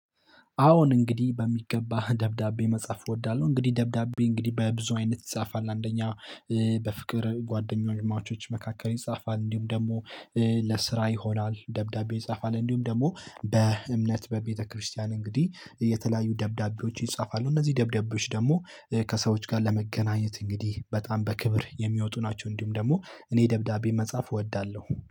አዎን እንግዲህ በሚገባ ደብዳቤ መጻፍ እወዳለሁ እንግዲህ ደብዳቤ እንግዲህ በብዙ አይነት ይጻፋል። አንደኛ በፍቅር ጓደኛማቾች መካከል ይፃፋል እንዲሁም ደግሞ ለስራ ይሆናል። ደብዳቤ ይፃፋል እንዲሁም ደግሞ በእምነት በቤተክርስቲያን እንግዲህ የተለያዩ ደብዳቤዎች ይጻፋሉ። እነዚህ ደብዳቤዎች ደግሞ ከሰዎች ጋር ለመገናኘት እንግዲህ በጣም በክብር የሚወጡ ናቸው። እንዲሁም ደግሞ እኔ ደብዳቤ መጻፍ እወዳለሁ።